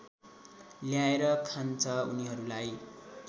ल्याएर खान्छ उनीहरूलाई